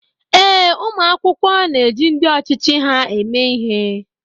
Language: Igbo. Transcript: Ee, ụmụ akwụkwọ na-eji ndị ọchịchị ha eme ihe